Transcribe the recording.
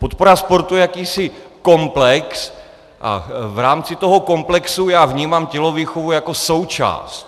Podpora sportu je jakýsi komplex a v rámci toho komplexu já vnímám tělovýchovu jako součást.